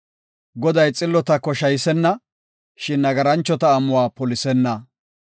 Goday xillota koshaysenna; shin nagaranchota amuwa polisenna.